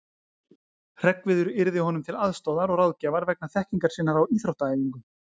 Hreggviður yrði honum til aðstoðar og ráðgjafar vegna þekkingar sinnar á íþróttaæfingum.